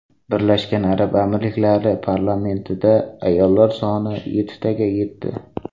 Birlashgan arab amirliklari parlamentida ayollar soni yettitaga yetdi.